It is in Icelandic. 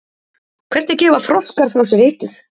hvernig gefa froskar frá sér eitur